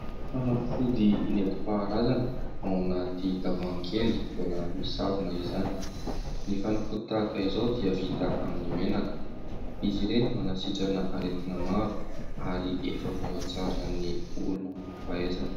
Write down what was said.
Fanafody nentim-paharazana ao anaty tavoahangy kely mbola misarona izany. Ny fanafody tahaka izao dia vita amin'ny menaka. Izy ireny manasitrana aretina maro ary efa voatsara ny olona manam-pahaizana.